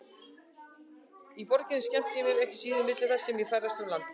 Í borginni skemmti ég mér ekki síður milli þess sem ég ferðaðist um landið.